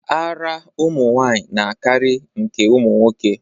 Ara ụmụnwanyị na-akarị nke ụmụnwoke.